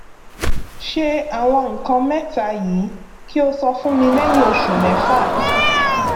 ṣe àwọn nǹkan mẹta yìí kí o sọ fún mi lẹyìn oṣù mẹfà